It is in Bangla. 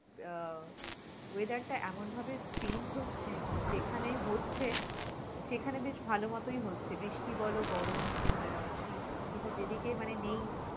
আহ weather টা এমন ভাবে change হচ্ছে, যেখানে হচ্চে সেখানে বেশ ভালোমতোই আছে বৃষ্টি বল গরম আহ শীত, কিন্তু যেদিকে মানে নেই